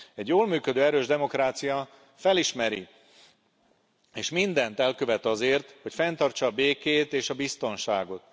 Egy jól működő, erős demokrácia felismeri ezt, és mindent elkövet azért, hogy fenntartsa a békét és a biztonságot.